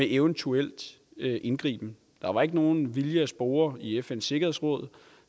eventuel indgriben der var ikke nogen vilje at spore i fns sikkerhedsråd